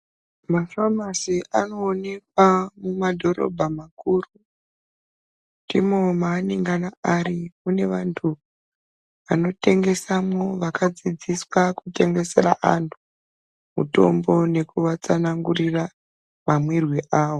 Mafamasi anoonekwa mumadhorobha makuru ndiwona manoungana muri kune vantu vanotengesawomo vanodzidziswa kutengeswa vantu mutombo nekuvatsanangura mamwirwo awo.